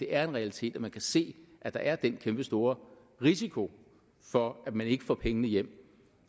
er en realitet at man kan se at der er den kæmpestore risiko for at man ikke får pengene hjem